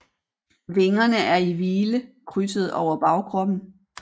Vingerne er i hvile krydsede over bagkroppen